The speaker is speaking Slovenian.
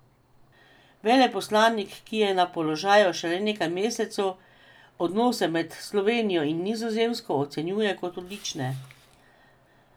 Veleposlanik, ki je na položaju šele nekaj mesecev, odnose med Slovenijo in Nizozemsko ocenjuje kot odlične.